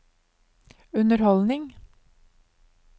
underholdning